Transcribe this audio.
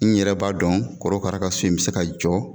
N yɛrɛ b'a dɔn korokara ka so in bɛ se ka jɔ